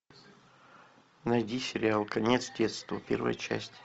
найди сериал конец детства первая часть